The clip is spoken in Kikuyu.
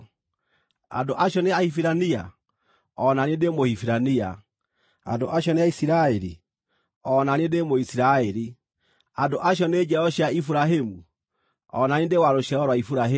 Andũ acio nĩ Ahibirania? O na niĩ ndĩ Mũhibirania. Andũ acio nĩ Aisiraeli? O na niĩ ndĩ Mũisiraeli. Andũ acio nĩ njiaro cia Iburahĩmu? O na niĩ ndĩ wa rũciaro rwa Iburahĩmu.